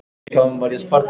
Þau hreyfðu sig ekki.